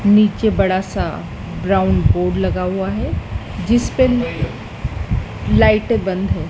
नीचे बड़ा सा ब्राउन बोर्ड लगा हुआ है जिसपे लाइटें बंद है।